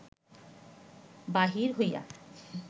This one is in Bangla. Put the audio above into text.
বাহির হইয়া